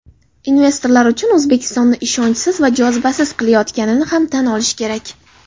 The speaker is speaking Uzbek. investorlar uchun O‘zbekistonni ishonchsiz va jozibasiz qilayotganini ham tan olish kerak.